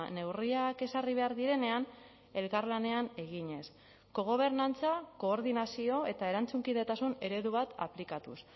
neurriak ezarri behar direnean elkarlanean eginez kogobernantza koordinazio eta erantzunkidetasun eredu bat aplikatuz